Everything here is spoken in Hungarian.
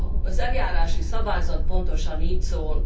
Az eljárási szabályzat pontosan így szól.